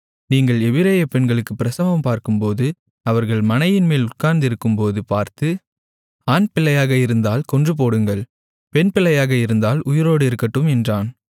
நீங்கள் எபிரெய பெண்களுக்கு பிரசவம் பார்க்கும்போது அவர்கள் மணையின்மேல் உட்கார்ந்திருக்கும்போது பார்த்து ஆண்பிள்ளையாக இருந்தால் கொன்றுபோடுங்கள் பெண்பிள்ளையாக இருந்தால் உயிரோடு இருக்கட்டும் என்றான்